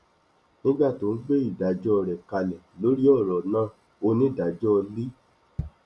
nígbà tó ń gbé ìdájọ rẹ kalẹ lórí ọrọ náà onídàájọ l